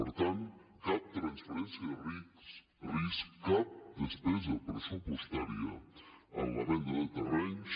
per tant cap transferència de risc cap despesa pressupostària en la venda de terrenys